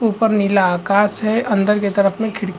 ऊपर नीला आकाश है अंदर के तरफ में खिड़की --